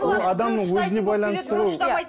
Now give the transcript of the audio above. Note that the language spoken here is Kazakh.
ол адамның өзіне байланысты ғой